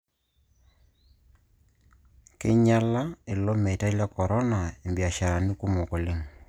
Keinyalia ilo meitai le Corona imbiasharani kumok oleng'